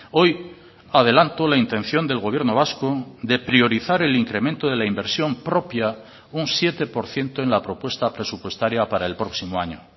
hoy adelanto la intención del gobierno vasco de priorizar el incremento de la inversión propia un siete por ciento en la propuesta presupuestaria para el próximo año